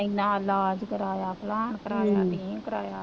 ਐਨਾ ਇਲਾਜ ਕਰਾਇਆ ਫਲਾਨ ਕਰਾਇਆ ਧੀਂਗ ਕਰਾਇਆ